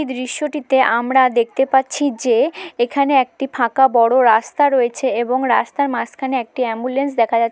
দৃশ্যটিতে আমরা দেখতে পাচ্ছি যে এখানে একটি ফাঁকা বড় রাস্তা রয়েছে এবং রাস্তার মাঝখানে একটি অ্যাম্বুলেন্স দেখা যা--